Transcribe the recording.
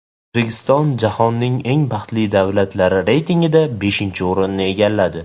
O‘zbekiston jahonning eng baxtli davlatlari reytingida beshinchi o‘rinni egalladi.